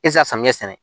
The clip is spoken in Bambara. E tɛ se ka samiyɛ sɛnɛ